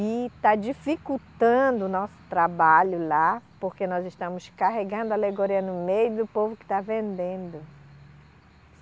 E tá dificultando o nosso trabalho lá, porque nós estamos carregando alegoria no meio do povo que está vendendo.